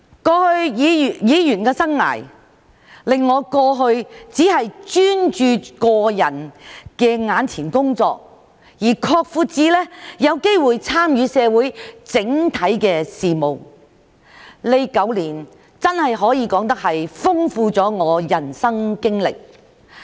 過去的議員生涯，令我由過去只專注個人眼前的工作，擴闊至有機會參與社會整體事務，這9年真的可以說豐富了我的人生經歷。